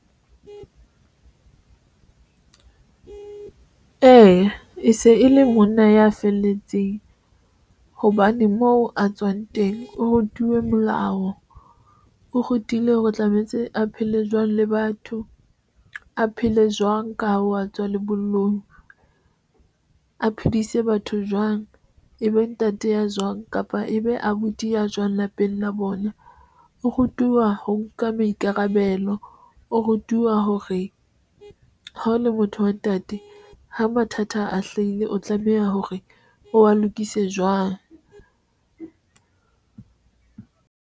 Eya, e se e le monna ya felletseng hobane moo a tswang teng, o rutuwe molao o rutilwe hore tlametse a phele jwang le batho a phele jwang ka ho tswa lebollong, a phedise batho jwang ebe ntate ya jwang kapa ebe abuti ya jwang lapeng la bona o rutuwa ho nka maikarabelo o rutuwa hore ha o le motho wa ntate ha mathata a hlaile, o tlameha hore o wa lokise jwang.